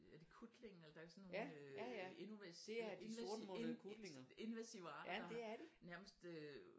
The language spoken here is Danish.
Er det kutlinge eller der er sådan nogle øh invasive arter nærmest øh